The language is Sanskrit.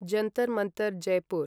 जन्तर् मन्तर् जयपुर्